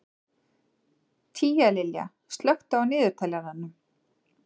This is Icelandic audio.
Tíalilja, slökktu á niðurteljaranum.